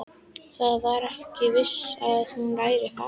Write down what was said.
Það var ekki víst að hún væri farin.